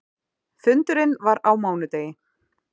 Fundurinn var á mánudegi.